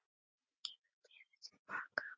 Gefur peðið til baka.